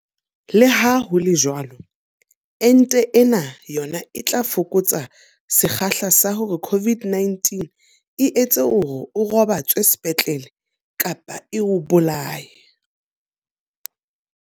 Leha ho le jwalo, ente ena yona e tla fokotsa sekgahla sa hore COVID-19 e etse hore o robatswe sepetlele kapa e o bolaye.